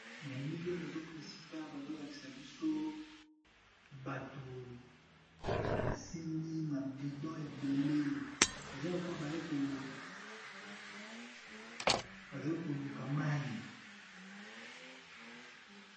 Na elili nazomona esika bazo lakisa biso bato ba simbi ba bidon ebele eza lokola baye ko bazo luka mayi.